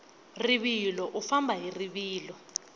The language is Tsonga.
rivilo u famba hi rivilo